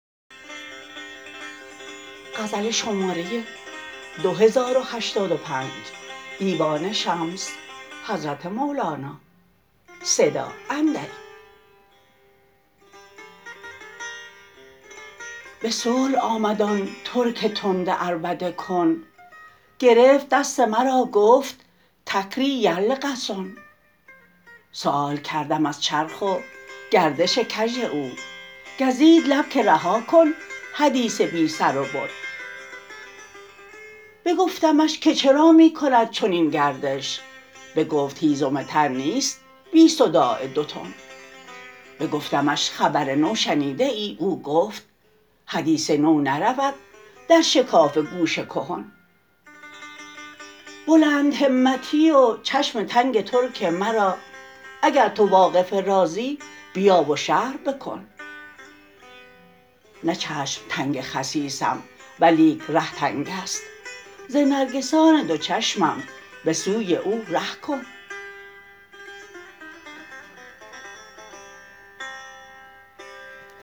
به صلح آمد آن ترک تند عربده کن گرفت دست مرا گفت تکری یرلغسن سؤال کردم از چرخ و گردش کژ او گزید لب که رها کن حدیث بی سر و بن بگفتمش که چرا می کند چنین گردش بگفت هیزم تر نیست بی صداع دتن بگفتمش خبر نو شنیده ای او گفت حدیث نو نرود در شکاف گوش کهن بلندهمتی و چشم تنگ ترک مرا اگر تو واقف رازی بیا و شرح بکن نه چشم تنگ خسیسم ولیک ره تنگ است ز نرگسان دو چشمم به سوی او ره کن